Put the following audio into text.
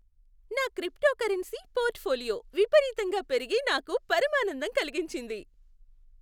నా cryptocurrency portfolio విపరీతంగా పెరిగి నాకు పరమానందం కలిగించింది.